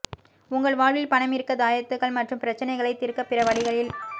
உங்கள் வாழ்வில் பணம் ஈர்க்க தாயத்துகள் மற்றும் பிரச்சினைகளை தீர்க்க பிற வழிகளில்